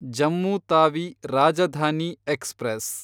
Jammu Tawi Rajdhani express